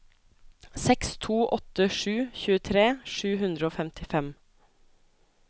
seks to åtte sju tjuetre sju hundre og femtifem